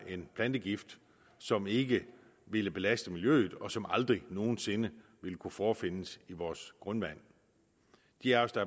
en plantegift som ikke ville belaste miljøet og som aldrig nogen sinde ville kunne forefindes i vores grundvand de af os der